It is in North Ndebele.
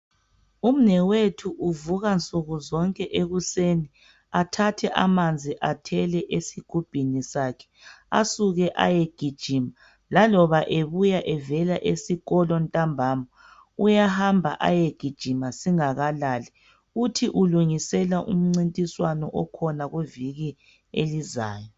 Umnewethu uvuka nsukuzonke ekuseni athathe amanzi athele esigubhini sakhe asuke ayegijima, laloba ebuya evela esikolo ntambama, uyahamba ayegijima singakalali, uthi ulungisela umncintiswano okhona kuviki elizayo.